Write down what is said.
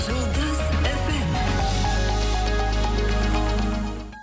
жұлдыз эф эм